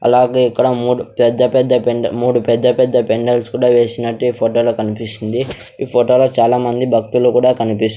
అలాగే ఇక్కడ మూడు పెద్ద పెద్ద బెండల్ మూడు పెద్ద పెద్ద బెండల్స్ కూడా వేసినట్టు ఈ ఫోటో లో కనిపిస్తుంది ఈ ఫోటో లో చాలా మంది భక్తులు కూడా కన్పిస్ --